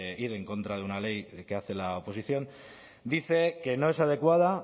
ir en contra de una ley que hace la oposición dicen que no es adecuada